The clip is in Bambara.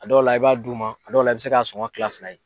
A dɔw la i b'a d'u ma a dɔw la i bɛ se ka sɔgɔn kila fila ye.